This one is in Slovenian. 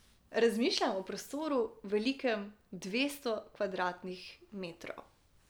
Razmišljam o prostoru, velikem dvesto kvadratnih metrov.